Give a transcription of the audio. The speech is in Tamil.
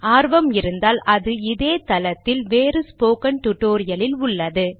ஆர்வம் இருந்தால் அது இதே தளத்தில் வேறு ஸ்போக்கன் டுடோரியலில் உள்ளது